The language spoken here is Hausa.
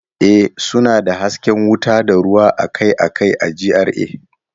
Ee, suna da hasken wuta da ruwa akai-akai a GRA